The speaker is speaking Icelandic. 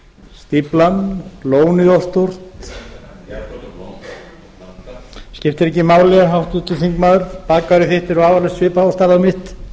stór lónið of stórt skiptir ekki máli háttvirtur þingmaður þitt er vafalaust af svipaðri stærð og mitt